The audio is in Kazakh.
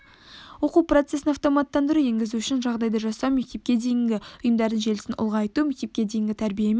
оқу процесін автоматтандыруды енгізу үшін жағдай жасау мектепке дейінгі ұйымдардың желісін ұлғайту мектепке дейінгі тәрбие мен